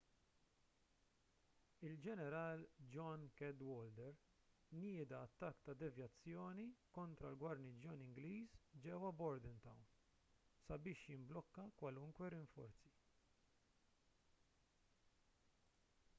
il-ġeneral john cadwalder nieda attakk ta' devjazzjoni kontra l-gwarniġġjon ingliż ġewwa bordentown sabiex jimblokka kwalunkwe rinforzi